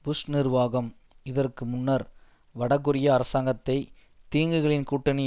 push நிர்வாகம் இதற்கு முன்னர் வடகொரியா அரசாங்கத்தை தீங்குகளின் கூட்டணி